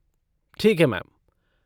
ठीक है मैम।